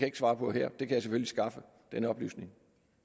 ikke svare på her den oplysning